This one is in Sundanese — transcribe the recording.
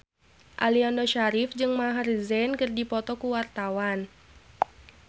Aliando Syarif jeung Maher Zein keur dipoto ku wartawan